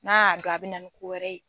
N'a y'a dɔn a bɛna ni kowɛrɛ ye